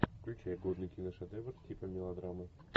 включай годный киношедевр типа мелодрамы